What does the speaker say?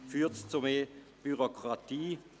Führt es zu mehr Bürokratie?